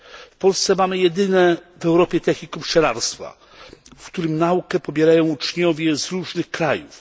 W Polsce mamy jedyne w Europie technikum pszczelarstwa, w którym naukę pobierają uczniowie z różnych krajów.